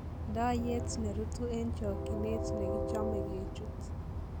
Ndoyeet nerutu en chokineet negichome gechuut.